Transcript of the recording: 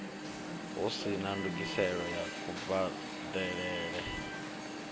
hu sina ndungiselo ya kubadelele